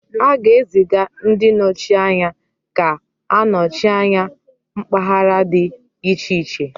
A ga-eziga ndi nọchi anya ga-anọchi anya mpaghara dị iche iche